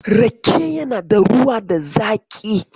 Rake yana da ruwa da zaƙi.